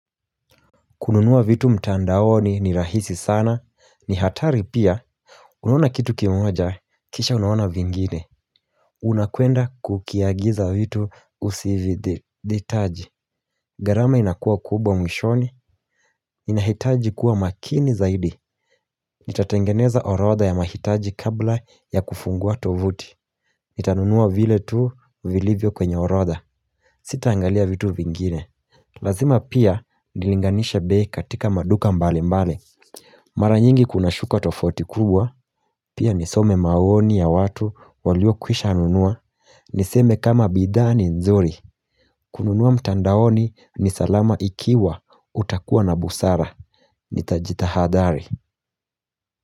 Kununuwa vitu mtandaoni ni rahisi sana, ni hatari pia. Unaona kitu kimoja, kisha unaona vingine. Unakwenda kukiagiza vitu usivi ditaji. Garama inakuwa kubwa mwishoni. Inahitaji kuwa makini zaidi. Nitatengeneza orodha ya mahitaji kabla ya kufungua tovuti. Nitanunuwa vile tuu, vilivyo kwenye orodha. Sita angalia vitu vingine. Lazima pia, nilinganishe bei katika maduka mbali mbali. Mara nyingi kuna shukuwa tofauti kubwa, pia nisome maoni ya watu walio kwisha nunua, niseme kama bidhaa ni nzuri, kununuwa mtandaoni ni salama ikiwa utakuwa na busara, nitajitahadhari.